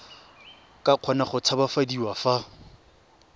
ka kgona go tshabafadiwa fa